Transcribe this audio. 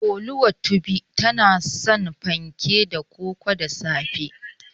Oluwatobi tana son fanke da koko da safe.